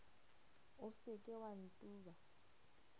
o se ke wa ntuba